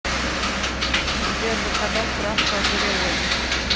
сбер заказать справку о переводе